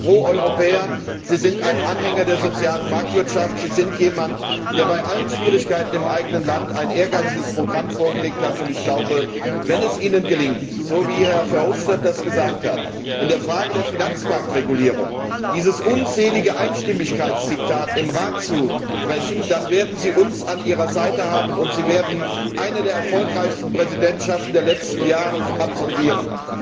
Sie sind ein Pro Europäer, Sie sind ein Anhänger der sozialen Marktwirtschaft, Sie sind jemand, der bei allen Schwierigkeiten im eigenen Land ein ehrgeiziges Programm vorgelegt hat, und ich glaube, wenn es Ihnen gelingt, so wie Herr Verhofstadt das gesagt hat, in der Frage der Finanzmarktregulierung dieses unselige Einstimmigkeitsdiktat im Rat zu brechen, dann werden Sie uns an Ihrer Seite haben, und Sie werden eine der erfolgreichsten Präsidentschaften der letzten Jahre absolvieren.